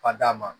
Fa d'a ma